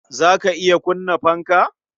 Za ta iya kunna fanka?